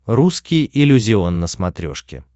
русский иллюзион на смотрешке